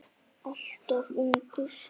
Alltof ungur.